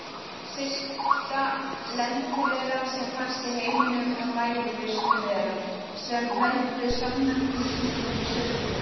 Fyrsta lenti-veiran sem fannst í heiminum var mæði-visnu-veiran sem veldur samnefndum sjúkdómum í sauðfé.